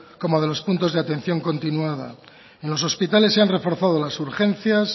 como de los puntos de atención continuada en los hospitales se han reforzado las urgencias